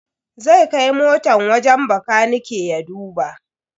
Zai kai motan wajen bakanike ya duba.